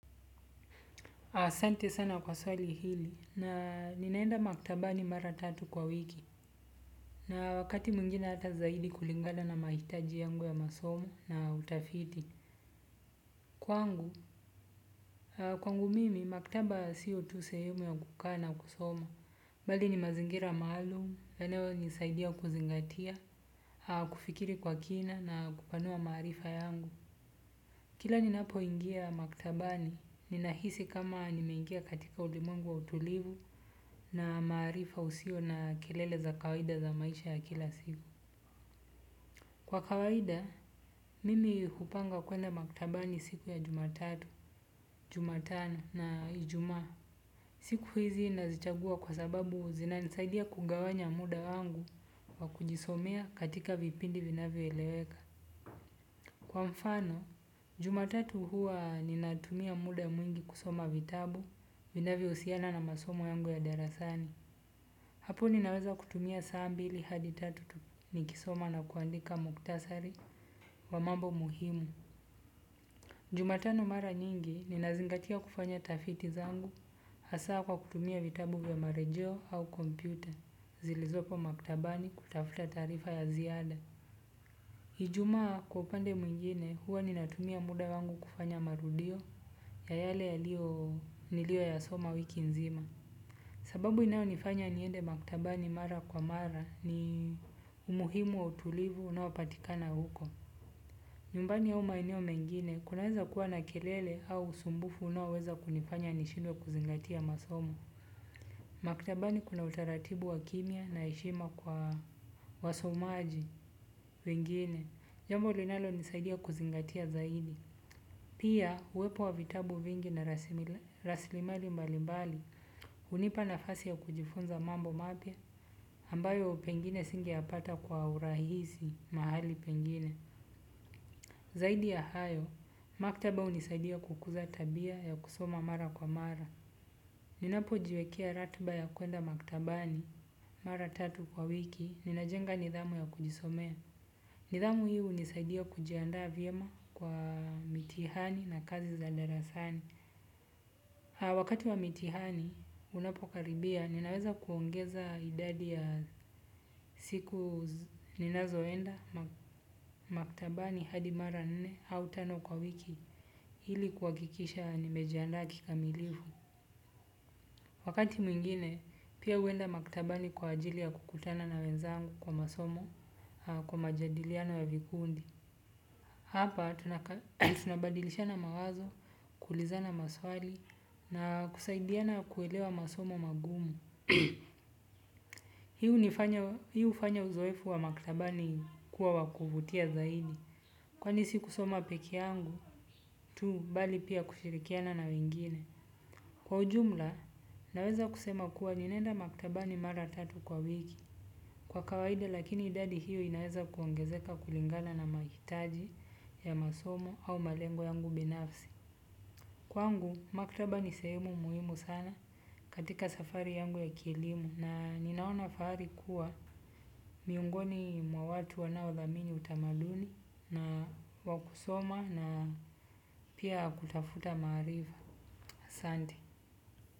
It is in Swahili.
Asante sana kwa swali hili, ninaenda maktabani mara tatu kwa wiki na wakati mwingine ata zaidi kulingana na mahitaji yangu ya masomo na utafiti. Kwangu, kwangu mimi, maktaba si tu sehemu ya kukaa na kusoma. Bali ni mazingira maalum, eneo hunisaidia kuzingatia, kufikiri kwa kina na kupanua maarifa yangu. Kila ninapo ingia maktabani, ninahisi kama nimengia katika ulimwengu wa utulivu na maarifa usiyo na kelele zaa kawaida ya maisha ya kila siku. Kwa kawaida, mimi hupanga kwenda maktabani siku ya jumatatu Jumatano na ijumaa. Siku hizi nazichagua kwa sababu zina nisaidia kugawanya muda wangu wa kujisomea katika vipindi vinavyo eleweka. Kwa mfano, jumatatu huwa ninatumia muda mwingi kusoma vitabu vinavyo husiana na masomo yangu ya darasani. Hapo ninaweza kutumia saa mbili hadi tatu nikisoma na kuandika muktasari wa mambo muhimu. Jumatano mara nyingi ninazingatia kufanya tafiti zangu hasa kwa kutumia vitabu vya marejeo au kompyuta zilizopo maktabani kutafuta taarifa ya ziada ijumaa kwa upande mwingine huwa ninatumia muda wangu kufanya marudio ya yale yalio nilio yasoma wiki nzima. Sababu inayonifanya niende maktabani mara kwa mara ni umuhimu wa utulivu unao patikana uko nyumbani au maeneo mengine kunaweza kuwa na kilele au usumbufu unaoweza kunifanya nishidwe kuzingatia masomo. Maktabani kuna utaratibu wa kimya na heshima kwa wasomaji wengine. Jambo linalo nisaidia kuzingatia zaidi. Pia, uwepo wa vitabu vingi na raslimari mbalibali hunipa nafasi ya kujifunza mambo mapya ambayo pengine singeyapata kwa urahisi mahali pengine. Zaidi ya hayo, maktaba hunisaidia kukuza tabia ya kusoma mara kwa mara. Ninapo jiwekea ratiba ya kuenda maktabani. Mara tatu kwa wiki, ninajenga nidhamu ya kujisomea. Nidhamu hii hunisaidia kujiandaa vyema kwa mitihani na kazi za darasani. Wakati wa mitihani unapokaribia ninaweza kuongeza idadi ya siku ninazoenda maktabani hadi mara nne au tano kwa wiki ili kuhakikisha nimejiaandaa kikamilifu. Wakati mwingine pia huenda maktabani kwa ajili ya kukutana na wenzangu kwa masomo kwa majadiliano ya vikundi. Hapa, tunabadilishana mawazo, kuulizana maswali, na kusaidiana kuelewa masomo mangumu. Hii hufanya uzoefu wa maktabani kuwa wakuvutia zaidi. Kwani si kusoma pekee yangu, tu bali pia kushirikiana na wengine. Kwa ujumla, naweza kusema kuwa ninaenda maktabani mara tatu kwa wiki. Kwa kawaida lakini idadi hiyo inaeza kuongezeka kulingala na mahitaji ya masomo au malengo yangu binafsi. Kwangu maktaba ni sehemu muhimu sana katika safari yangu ya kielimu na ninaona fahari kuwa miongoni mwa watu wanaodhamini utamaduni na wakusoma na pia kutafuta maarifa. Asante.